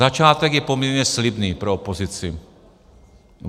Začátek je poměrně slibný pro opozici.